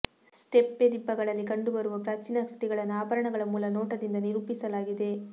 steppe ದಿಬ್ಬಗಳಲ್ಲಿ ಕಂಡುಬರುವ ಪ್ರಾಚೀನ ಕೃತಿಗಳನ್ನು ಆಭರಣಗಳ ಮೂಲ ನೋಟದಿಂದ ನಿರೂಪಿಸಲಾಗಿದೆ